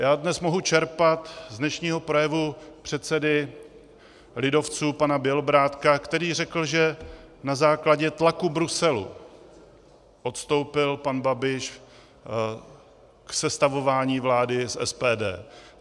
Já dnes mohu čerpat z dnešního projevu předsedy lidovců pana Bělobrádka, který řekl, že na základě tlaku Bruselu odstoupil pan Babiš od sestavování vlády s SPD.